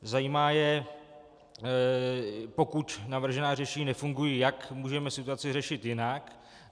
Zajímá je, pokud navržená řešení nefungují, jak můžeme situaci řešit jinak.